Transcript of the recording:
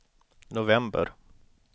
november